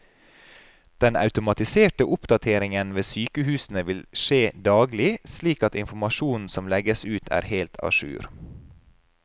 Den automatiserte oppdateringen ved sykehusene vil skje daglig, slik at informasjonen som legges ut er helt a jour.